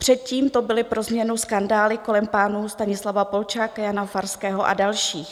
Předtím to byly pro změnu skandály kolem pánů Stanislava Polčáka, Jana Farského a dalších.